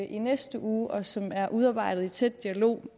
i næste uge og som er udarbejdet i tæt dialog